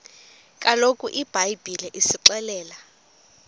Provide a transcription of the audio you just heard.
kaloku ibhayibhile isixelela